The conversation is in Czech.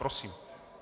Prosím.